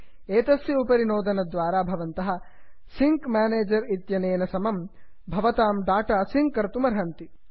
एतस्य उपरि नोदनद्वारा भवन्तः सिङ्क् म्यानेजर् इत्यनेन सह भवतां डाटा सिङ्क् कर्तुमर्हन्ति